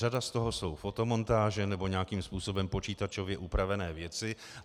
Řada z toho jsou fotomontáže nebo nějakým způsobem počítačově upravené věci.